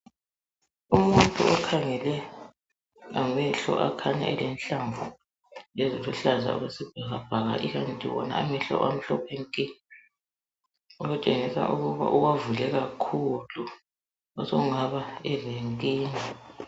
Umuntu okhangele ngamehlo akhanya elenhlamvu eziluhlaza okwesibhakabhaka ikanti wona amehlo amhlophe nke okutshengisa ukuba uwavule kakhulu okungaba elenkinga.